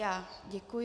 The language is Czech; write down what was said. Já děkuji.